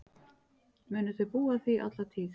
Munu þau búa að því alla tíð.